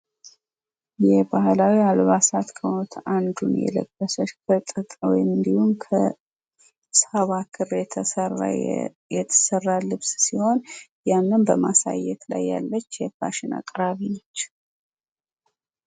የባህላዊ አልባሳት ከሆኑት አንዱን የለበሰች ከጥጥ እንድሁም ከክር የተሰራ ልብስ ሲሆን ያንን በማሳየት ላይ ያለች የፋሽን አቅራቢ ነች።